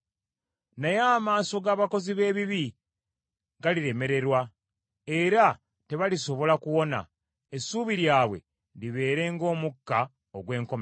Naye amaaso g’abakozi b’ebibi galiremererwa, era tebalisobola kuwona, essuubi lyabwe libeere ng’omukka ogw’enkomerero.”